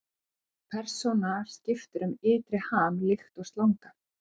Persónan skiptir um ytri ham líkt og slanga.